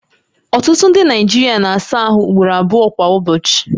Ọtụtụ ndị Naijiria na-asa ahụ ugboro abụọ kwa ụbọchị